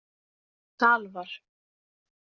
Salvar